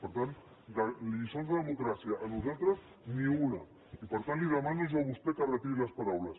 per tant de lliçons de democràcia a nosaltres ni una i per tant li demano jo a vostè que retiri les paraules